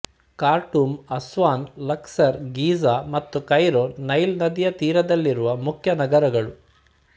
Khartoum Aswan Luxor Giza ಮತ್ತು Cairo Nile ನದಿಯ ತೀರದಲ್ಲಿರುವ ಮುಖ್ಯ ನಗರಗಳು